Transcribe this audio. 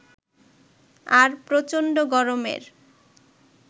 আর প্রচন্ড গরমের